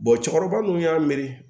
cɛkɔrɔba nunnu y'a miiri